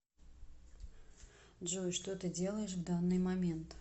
джой что ты делаешь в данный момент